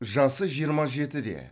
жасы жиырма жетіде